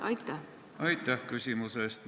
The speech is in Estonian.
Aitäh küsimuse eest!